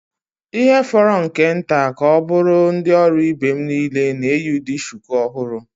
Ihe fọrọ nke nta ka ọ bụrụ ndị ọrụ ibe m niile na-eyi ụdị shuku ọhụrụ.